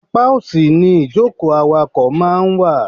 Apá òsì ni ìjókòó awakọ̀ máa ń wà.